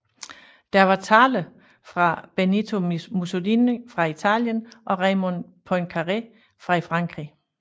Der var taler fra Benito Mussolini fra Italien og Raymond Poincaré fra Frankrig